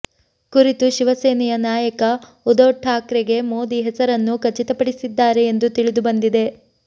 ಕುರಿತು ಶಿವಸೇನೆಯ ನಾಯಕ ಉಧವ್ ಠಾಕ್ರೆಗೆ ಮೋದಿ ಹೆಸರನ್ನು ಖಚಿತಪಡಿಸಿದ್ದಾರೆ ಎಂದು ತಿಳಿದುಬಂದಿದೆ